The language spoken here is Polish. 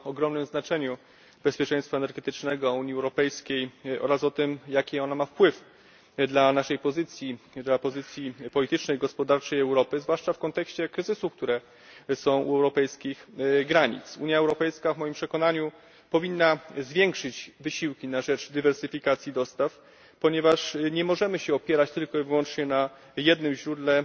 Myślę, że nikogo na tej sali nie trzeba przekonywać o ogromnym znaczeniu bezpieczeństwa energetycznego Unii Europejskiej oraz o tym, jakie ono ma wpływ dla naszej pozycji, dla pozycji politycznej i gospodarczej Europy, zwłaszcza w kontekście kryzysów, które są u europejskich granic. Unia Europejska w moim przekonaniu powinna zwiększyć wysiłki na rzecz dywersyfikacji dostaw, ponieważ nie możemy się opierać tylko i wyłącznie na jednym źródle,